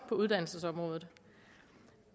på uddannelsesområdet